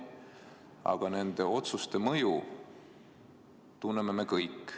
Aga nende otsuste mõju tunneme me kõik.